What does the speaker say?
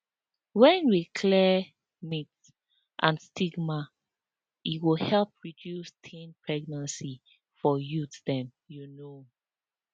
when we clear myths and stigma e go help reduce teen pregnancy for youth dem you know